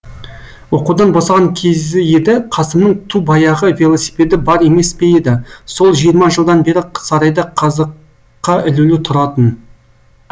оқудан босаған кезі еді қасымның ту баяғы велосипеді бар емес пе еді сол жиырма жылдан бері сарайда қазыққа ілулі тұратын